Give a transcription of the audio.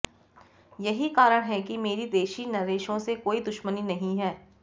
यही कारण है कि मेरी देशी नरेशों से कोई दुश्मनी नहीं है